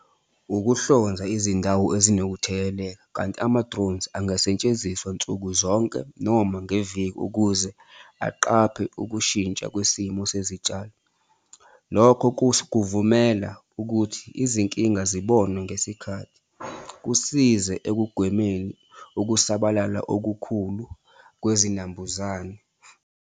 Ukuhlonza izindawo ezinokutheleleka, kanti ama-drones angasetshenziswa nsuku zonke noma ngeviki ukuze aqaphe ukushintsha kwisimo sezitshalo. Lokho kuvumela ukuthi izinkinga zibonwe ngesikhathi, kusize ekugwemeni ukusabalala okukhulu kwezinambuzane.